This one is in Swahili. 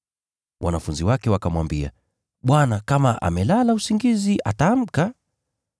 Wanafunzi wakamwambia, “Bwana, kama amelala usingizi ataamka.”